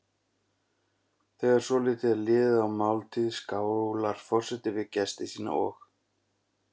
Þegar svolítið er liðið á máltíð skálar forseti við gesti sína og